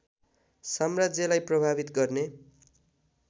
साम्राज्यलाई प्रभावित गर्ने